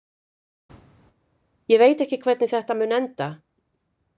Ég veit ekki hvernig þetta mun enda.